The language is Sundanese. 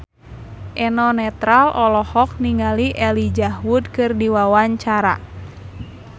Eno Netral olohok ningali Elijah Wood keur diwawancara